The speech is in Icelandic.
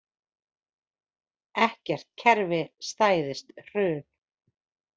Ekkert kerfi stæðist hrun